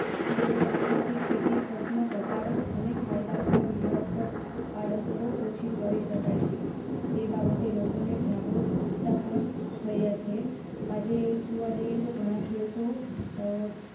પૂર્વક ઉપયોગથી ખેતી ખર્ચમાં ઘટાડો અને ફાયદાકારક જીવન પર આડ અસર ઓછી કરી શકાય તે બાબતે લોકોને જાગૃત પણ થયા છે. આજે જોઇએ તો ઘણાં ખેડૂતો.